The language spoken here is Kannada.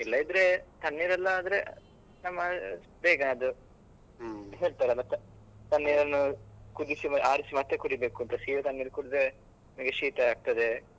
ಇಲ್ಲದಿದ್ರೆ ತಣ್ಣೀರೆಲ್ಲ ಆದ್ರೆ ನಮ್ಮ ಬೇಗ ಅದು ತಣ್ಣೇರನ್ನು ಕುದಿಸಿ ಆರಿಸಿ ಮತ್ತೆ ಕುಡಿಬೇಕು ಅಂತ ಸೀದಾ ತಣ್ಣೀರು ಕುಡಿದ್ರೆ ನಮಗೆ ಶೀತ ಆಗ್ತದೆ.